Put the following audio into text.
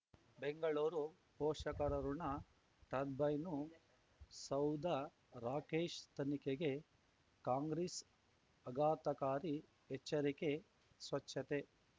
ಬೆಂಗಳೂರು ಪೋಷಕರಋಣ ಟರ್ಬೈನು ಸೌಧ ರಾಕೇಶ್ ತನಿಖೆಗೆ ಕಾಂಗ್ರೆಸ್ ಅಘಾತಕಾರಿ ಎಚ್ಚರಿಕೆ ಸ್ವಚ್ಛತೆ